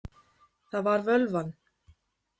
Það var völvan.